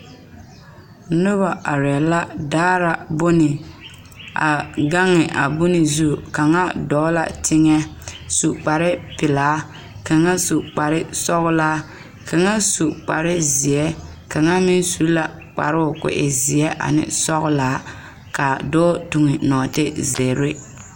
Noba arɛɛ la daara bone a gaŋe a bone zu kaŋa dɔɔ la teŋɛ su kparepelaa ka kaŋa su kparesɔglaa kaŋa su kparezeɛ kaŋa meŋ su la kparoo k,o e zeɛ ane sɔglaa ka dɔɔ toŋe nɔɔteze.